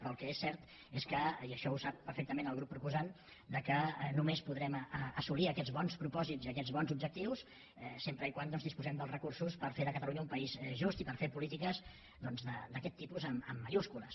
però el que és cert és que i això ho sap perfectament el grup proposant només podrem assolir aquests bons propòsits i aquests bons objectius sempre que disposem dels recursos per fer de catalunya un país just i per fer polítiques d’aquest tipus amb majúscules